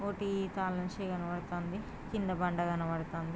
ఒకటి తల నుంచి కన్పడతోంది కింద బండ కనపడుతోంది.